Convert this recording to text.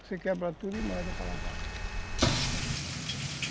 Você quebra tudo e manda para lavar.